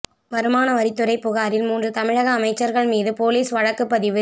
வருமான வரித்துறை புகாரில் மூன்று தமிழக அமைச்சர்கள் மீது போலீஸ் வழக்குப்பதிவு